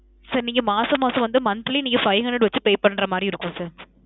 sir நீங்க மாசம் மாசம் வந்து monthly நீங்க five hundred வச்சு pay பண்ற மாறி இருக்கும் sir.